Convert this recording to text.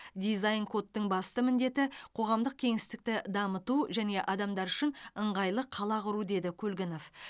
дизайн кодтың басты міндеті қоғамдық кеңістікті дамыту және адамдар үшін ыңғайлы қала құру деді көлгінов